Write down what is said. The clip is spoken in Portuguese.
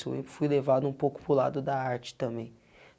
Eu fui levado um pouco para o lado da arte também.